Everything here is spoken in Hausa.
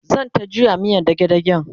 zanta juya miyan dage dagen